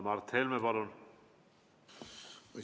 Mart Helme, palun!